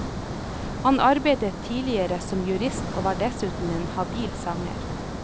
Han arbeidet tidligere som jurist og var dessuten en habil sanger.